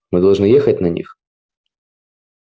мы должны ехать на них